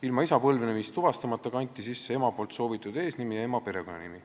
Ilma põlvnemist tuvastamata kanti isa nimedena sisse ema soovitud eesnimi ja ema perekonnanimi.